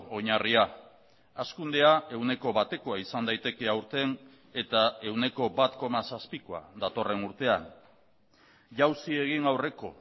oinarria hazkundea ehuneko batekoa izan daiteke aurten eta ehuneko bat koma zazpikoa datorren urtean jausi egin aurreko